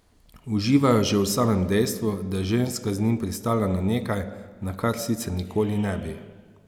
Uživajo že v samem dejstvu, da je ženska z njimi pristala na nekaj, na kar sicer nikoli ne bi.